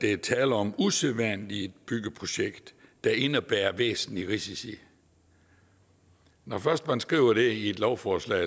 er tale om et usædvanligt byggeprojekt der indebærer væsentlige risici når først man skriver det i et lovforslag